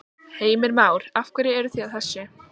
Heimir Már: Af hverju eru þið að þessu?